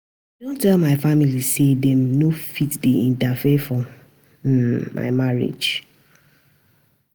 I don tell my family sey dem no fit dey interfere for um my marriage.